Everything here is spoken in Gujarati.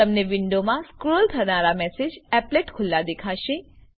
તમને વિન્ડો મા સ્ક્રોલ થનારા મેસેજ એપ્લેટ ખુલ્લા દેખાશે